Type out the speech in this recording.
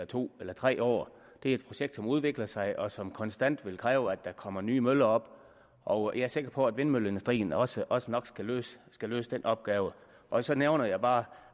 to eller tre år det er et projekt som udvikler sig og som konstant vil kræve at der kommer nye møller op og jeg er sikker på at vindmølleindustrien også også nok skal løse skal løse den opgave og så nævner jeg bare